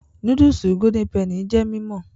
Núdúùsù golden penny jẹ́ mímọ̀